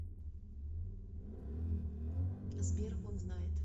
сбер он знает